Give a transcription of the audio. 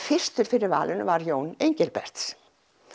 fyrstur fyrir valinu var Jón Engilberts